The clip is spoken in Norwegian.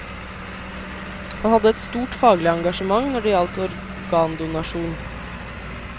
Han hadde et stort faglig engasjement når det gjaldt organdonasjon.